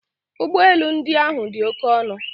Ụgbọ elu ndị ahụ dị oke ọnụ